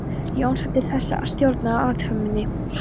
Jónsson til þess að stjórna athöfninni.